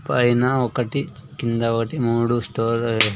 పైన ఒకటి కింద ఒకటి మూడు స్టోర్ --